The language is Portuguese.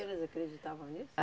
freiras acreditavam nisso?